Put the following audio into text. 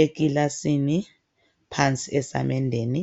Enkilasini phansi esamendeni